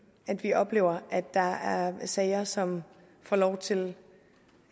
at vi oplever at der er sager som får lov til